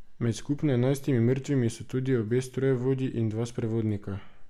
Med skupno enajstimi mrtvimi so tudi obe strojevodji in dva sprevodnika.